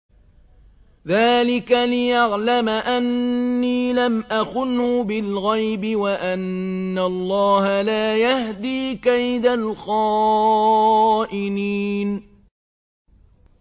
ذَٰلِكَ لِيَعْلَمَ أَنِّي لَمْ أَخُنْهُ بِالْغَيْبِ وَأَنَّ اللَّهَ لَا يَهْدِي كَيْدَ الْخَائِنِينَ